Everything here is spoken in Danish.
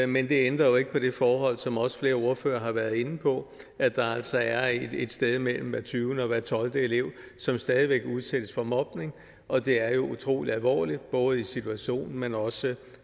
men det ændrer jo ikke på det forhold som også flere ordførere har været inde på at der altså er et sted mellem hver tyvende og hver tolvte elev som stadig væk udsættes for mobning og det er jo utrolig alvorligt både i situationen men også